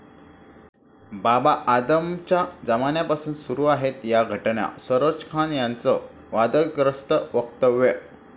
बाबा आदमच्या जमान्यापासून सुरू आहेत या 'घटना', सरोज खान यांचं वादग्रस्त वक्तव्य